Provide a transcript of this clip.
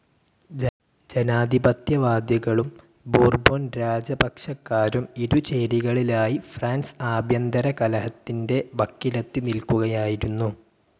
ജനാധിപത്യവാദികളും ബൂർബോൺരാജപക്ഷക്കാരും ഇരു ചേരികളിലായി ഫ്രാൻസ് ആഭ്യന്തരകലഹത്തിൻ്റെ വക്കിലെത്തി നിൽക്കുകയായിരുന്നു.